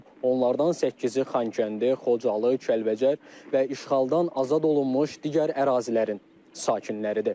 Onlardan səkkizi Xankəndi, Xocalı, Kəlbəcər və işğaldan azad olunmuş digər ərazilərin sakinləridir.